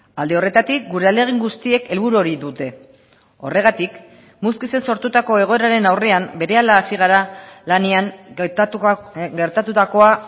alde horretatik gure ahalegin guztiek helburu hori dute horregatik muskizen sortutako egoeraren aurrean berehala hasi gara lanean gertatutakoa